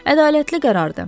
Ədalətli qərardır.